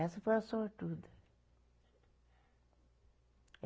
Essa foi a sortuda.